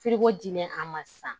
diinɛ a ma san